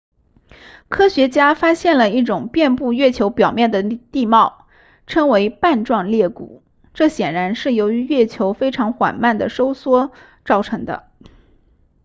科学家发现了一种遍布月球表面的地貌称为瓣状裂谷这显然是由于月球非常缓慢地收缩造成的